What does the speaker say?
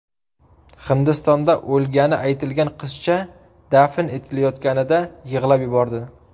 Hindistonda o‘lgani aytilgan qizcha dafn etilayotganida yig‘lab yubordi.